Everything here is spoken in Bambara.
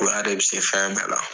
Bonya de bɛ se fɛn bɛɛ la